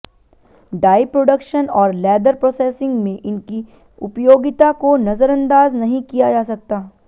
die production और leather processing में इनकी उपयोगिता को नजरअंदाज नहीं किया जा सकता